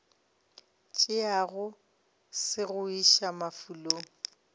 tšeago se go iša mafulong